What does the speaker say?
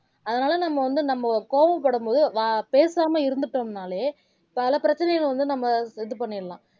அதுனால வந்து நம்ம கோவப்படும்போது வ பேசாம இருந்துட்டோம்னாலே பல பிரச்சனைகள் வந்து நம்ம இது பண்ணிரலாம்